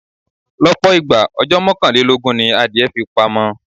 Lọ́pọ̀ ìgbà, ọjọ́ mọ́kànlélógún ni adìẹ fi pamọ.